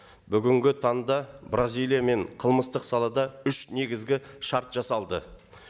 бүгінгі таңда бразилиямен қылмыстық салада үш негізгі шарт жасалды